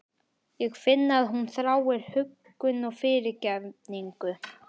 Ég finn að hún þráir huggun og fyrirgefningu.